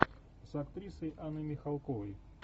с актрисой анной михалковой